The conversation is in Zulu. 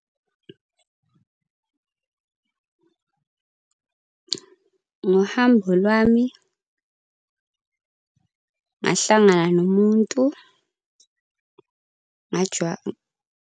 Ngohambo lwami ngahlangana nomuntu .